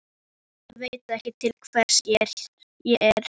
Ég veit ekki til hvers ég er.